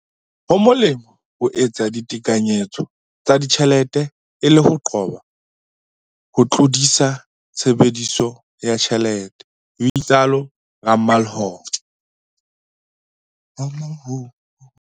"Ho molemo ho etsa ditekanyetso tsa ditjhelete e le ho qoba ho tlodisa tshebediso ya tjhelete," ho itsalo Ramalho.